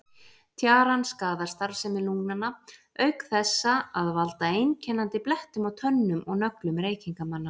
Tjaran skaðar starfsemi lungnanna auk þessa að valda einkennandi blettum á tönnum og nöglum reykingamanna.